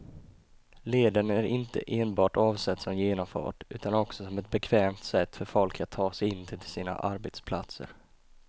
Leden är inte enbart avsedd som genomfart utan också som ett bekvämt sätt för folk att ta sig in till sina arbetsplatser.